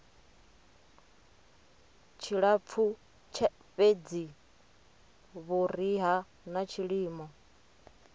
tshilapfu fhedzi vhuriha na tshilimo